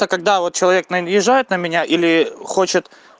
когда вот человек наезжают на меня или хочет